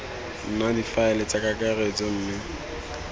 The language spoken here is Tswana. nna difaele tsa kakaretso mme